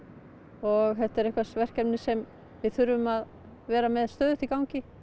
og þetta er verkefni sem við þurfum að vera með stöðugt í gangi